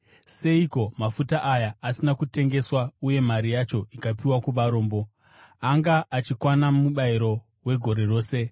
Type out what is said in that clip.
“Seiko mafuta aya asina kutengeswa uye mari yacho ikapiwa kuvarombo? Anga achikwana mubayiro wegore rose.”